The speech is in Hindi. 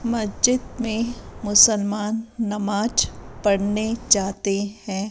मज्जिद में मुसलमान नमाज पढ़ने जाते हैं।